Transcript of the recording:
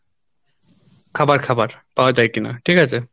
খাবার খাবার পাওয়া যায় কিনা ঠিক আছে?